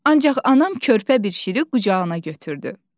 Ancaq anam körpə bir şiri qucağına götürdü.